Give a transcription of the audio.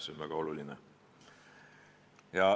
See on väga oluline.